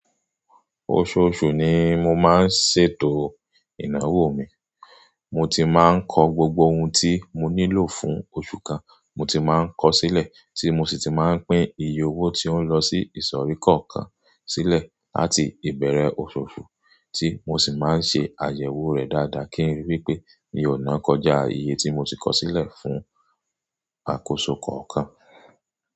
Oṣooṣù ni mo máa ń ṣètò ìnáwó mi. Mo ti máa ń kọ gbogbo ohun tí mo nílò fún oṣù kan, mo ti máa ń kọ sílẹ̀, tí mo sì ti máa ń pín iye owó tí ó ń lọ sí ìsọ̀rí kọ̀ọ̀kan sílẹ̀ àti ìbẹ̀rẹ̀ oṣooṣù tí mo sì máa ń ṣe àyẹ̀wò rẹ̀ dáadáa kí n rí wípé mi ò ná kọjá iye tí mo ti kọ sílẹ̀ fún àkóso kọ̀ọ̀kan.